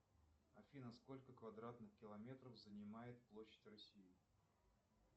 афина сколько квадратных километров занимает площадь россии